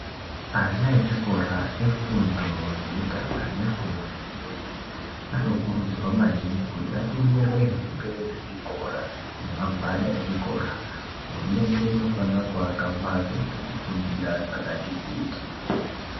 Ana echikora efundo yekutanga nefundo yechipiri, anokurudzirwa maningi kuti atengerwe hembe dzechikora nemagwada echikora. Hurumende inofanira kuaka mbatso dzekufundira dzakati kuti.